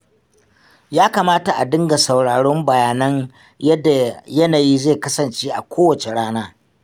Ya kamata ka dinga sauraron bayanan yadda yanayi zai kasance a kowace rana.